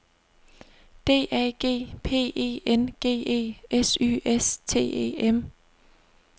D A G P E N G E S Y S T E M